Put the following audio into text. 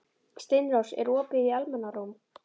Steinrós, er opið í Almannaróm?